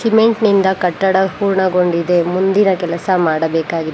Cement ನಿಂದ ಕಟ್ಟಡ ಪೂರ್ಣಗೊಂಡಿದೆ ಮುಂದಿನ ಕೆಲಸ ಮಾಡಬೇಕಾಗಿದೆ.